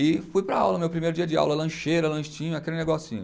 E fui para a aula, meu primeiro dia de aula, lancheira, lanchinho, aquele negocinho.